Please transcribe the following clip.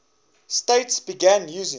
states began using